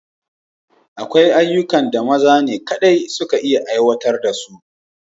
Akwai ayyukan da maza ne kaɗai suka iya aiwatar da shi